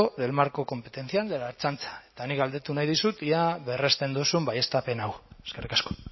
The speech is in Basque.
del marco competencial de la ertzaintza eta nik galdetu nahi dizut ea berresten duzun baieztapen hau eskerrik asko